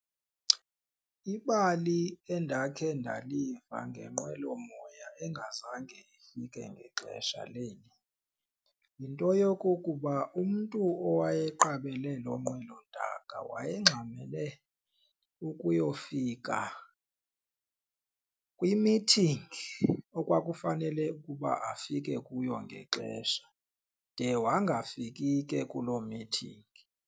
Ibali endakhe ndaliva ngenqwelomoya engazange ifike ngexesha linye yinto yokokuba umntu owayeqabele loo nqwelontaka wayengxamele ukuyofika kwimithingi ekwakufanele ukuba afike kuyo ngexesha de wangafiki ke kuloo mithingi.